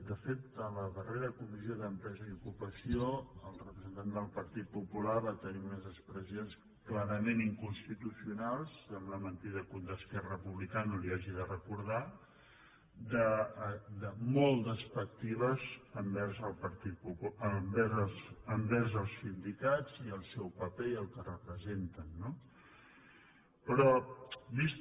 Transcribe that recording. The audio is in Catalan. de fet en la darrera comissió d’empresa i ocupació el representant del partit popular va tenir unes expressions clarament inconstitucionals sembla mentida que un d’esquerra republicana li ho hagi de recordar molt despectives envers els sindicats i el seu paper i el que representen no però vist